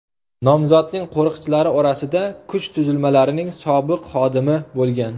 Nomzodning qo‘riqchilari orasida kuch tuzilmalarining sobiq xodimi bo‘lgan.